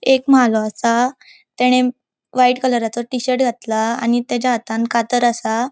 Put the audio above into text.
एक म्हालों आसा तेने व्हाइट कलराचो टी शर्ट घातला आणि तेजा हातान कातर असा.